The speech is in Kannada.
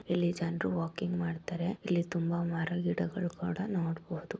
ಇಲ್ಲಿ ಜನರು ವಾಕಿಂಗ್ ಮಾಡ್ತಾರೆ ಇಲ್ಲಿ ತುಂಬಾ ಮರಗಿಡಗಳು ಕೂಡಾ ನೋಡಬಹುದು.